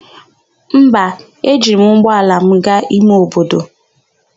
Mba, ejiri m ụgbọala m gaa ime obodo.